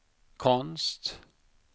konst